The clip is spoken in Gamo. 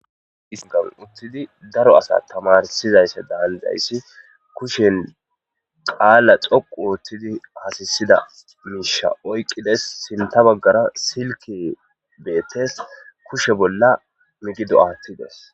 Hegan uttidi daro asa tamarsizaysse daalizayssi kushen qaala xoqu oottidi asisida miisha oyqqides sinta baggara silke beettes kushe bolla migido aattides.